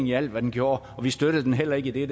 i alt hvad den gjorde og vi støttede heller ikke i det